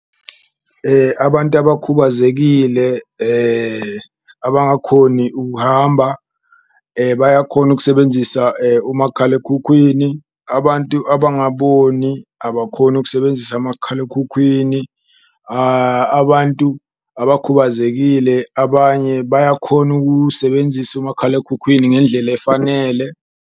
Abantu abakhubazekile abangakhoni ukuhamba bayakhona ukusebenzisa umakhalekhukhwini, abantu abangaboni abakhoni ukusebenzisa makhalekhukhwini, abantu abakhubazekile abanye bayakhona ukuwusebenzisa umakhalekhukhwini ngendlela efanele.